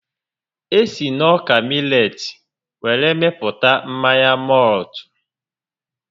E si n'ọka milet were mepụta mmanya mọltụ